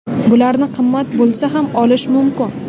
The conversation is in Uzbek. Bularni qimmat bo‘lsa ham, olish mumkin.